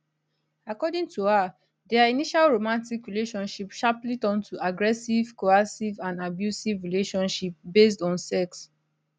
according to her dia initial romantic relationship sharply turn to aggressive coercive and abusive relationship based on sex